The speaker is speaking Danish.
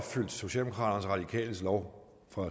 radikales lov fra